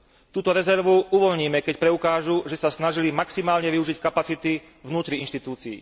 Túto rezervu uvoľníme, keď preukážu, že sa snažili maximálne využiť kapacity vnútri inštitúcií.